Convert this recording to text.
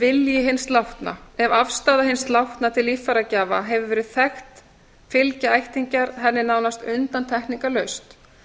vilji hins látna ef afstaða hins látna til líffæragjafa hefur verið þekkt fylgja ættingjar henni nánast undantekningarlaust